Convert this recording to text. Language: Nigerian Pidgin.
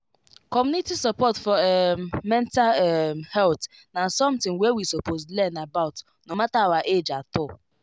community support for um mental um health na something wey we suppose learn about no matter our age at all